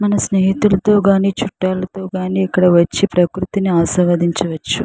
మన స్నేహితులతో గాని చుట్టాలతో గాని ఇక్కడ వచ్చి ప్రకృతిని ఆస్వాదించవచ్చు.